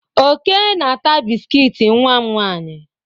Oke na-ata biskit nwa m nwaanyị.